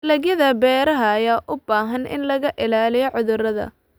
Dalagyada beeraha ayaa u baahan in laga ilaaliyo cudurrada.